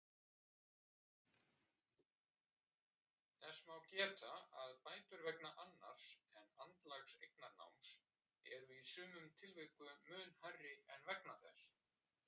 Er flaggið of þungt fyrir þig???